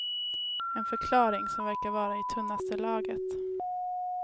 En förklaring som verkar vara i tunnaste laget.